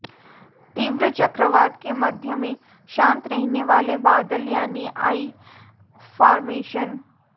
तीव्र चक्रवात के मध्य में शांत रहने वाले बादल यानी आई फार्मेेशन